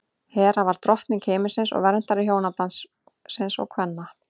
hera var drottning himinsins og verndari hjónabandsins og kvenna